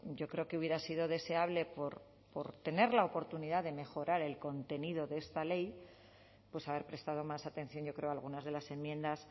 yo creo que hubiera sido deseable por tener la oportunidad de mejorar el contenido de esta ley pues haber prestado más atención yo creo a algunas de las enmiendas